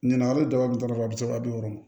Ɲinan a bɛ daba kun da a bɛ saba di o ma